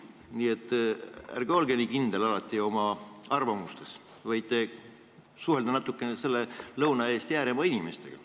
Nii et ärge olge alati nii kindel oma arvamuses, vaid suhelge natukene Lõuna-Eesti ääremaa inimestega.